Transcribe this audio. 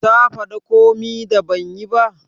Ta fada komi da ban yi ba?